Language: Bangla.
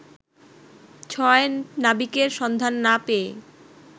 ছয় নাবিকের সন্ধান না পেয়ে